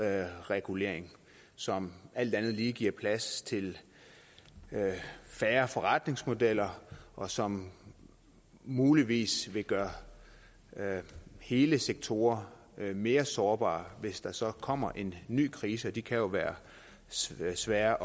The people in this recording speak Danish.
all regulering som alt andet lige giver plads til færre forretningsmodeller og som muligvis vil gøre hele sektorer mere sårbare hvis der så kommer en ny krise og de kan jo være svære svære